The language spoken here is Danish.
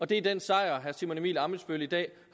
det er den sejr som herre simon emil ammitzbøll i dag